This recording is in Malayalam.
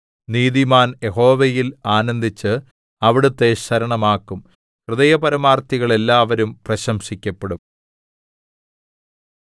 നീതിമാൻ യഹോവയിൽ ആനന്ദിച്ച് അവിടുത്തെ ശരണമാക്കും ഹൃദയപരമാർത്ഥികൾ എല്ലാവരും പ്രശംസിക്കപ്പെടും